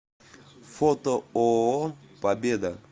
фото ооо победа